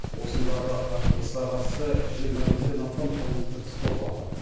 осындағы қақтығысқа қатысты жиырма бестен астам қылмыстық іс қозғалды